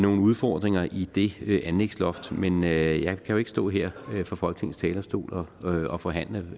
udfordringer i det det anlægsloft men jeg kan jo ikke stå her fra folketingets talerstol og og forhandle